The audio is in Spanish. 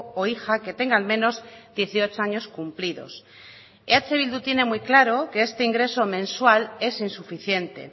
o hija que tenga al menos dieciocho años cumplidos eh bildu tiene muy claro que este ingreso mensual es insuficiente